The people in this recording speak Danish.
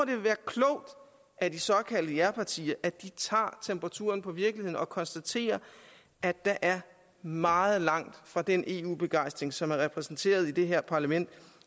vil være klogt at de såkaldte japartier tager temperaturen på virkeligheden og konstaterer at der er meget langt fra den eu begejstring som er repræsenteret i det her parlament